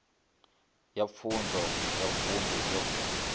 ya pfunzo ya vunḓu yo